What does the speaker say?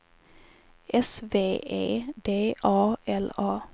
S V E D A L A